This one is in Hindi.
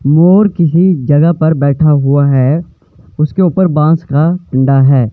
मोर किसी जगह पर बैठा हुआ है उसके ऊपर बास का डंडा है।